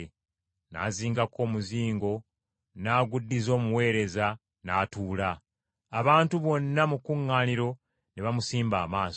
N’azingako omuzingo n’aguddiza omuweereza, n’atuula. Abantu bonna mu kkuŋŋaaniro ne bamusimba amaaso.